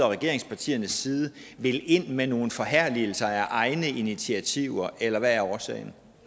regeringspartiernes side vil ind med nogle forherligelser af egne initiativer eller hvad er årsagen